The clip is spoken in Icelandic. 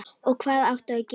Og hvað áttu að gera?